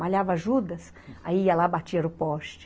Malhava Judas, aí ia lá, batia no poste.